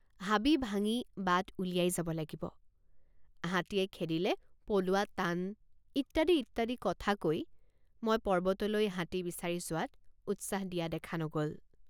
হাবি ভাঙি বাট উলিয়াই যাব লাগিব হাতীয়ে খেদিলে পলোৱা টান ইত্যাদি ইত্যাদি কথা কৈ মই পৰ্বতলৈ হাতী বিচাৰি যোৱাত উৎসাহ দিয়া দেখা নগল।